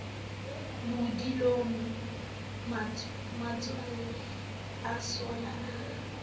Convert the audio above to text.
bodileng matshwele a sollang a